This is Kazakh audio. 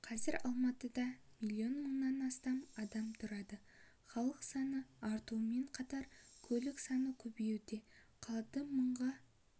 қазір алматыда миллион мыңнан астам адам тұрады халық саны артумен қатар көлік саны көбейді қалада мыңға